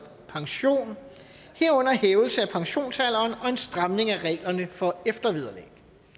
pension herunder hævelse af pensionsalderen og en stramning af reglerne for eftervederlag